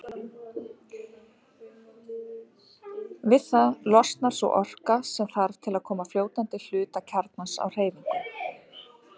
Við það losnar sú orka sem þarf til að koma fljótandi hluta kjarnans á hreyfingu.